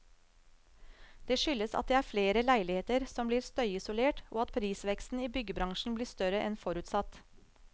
Det skyldes at det er flere leiligheter som blir støyisolert, og at prisveksten i byggebransjen blir større enn forutsatt.